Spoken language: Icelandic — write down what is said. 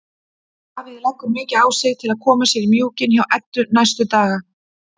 Davíð leggur mikið á sig til að koma sér í mjúkinn hjá Eddu næstu daga.